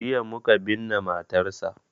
Jiya muka binne matarsa.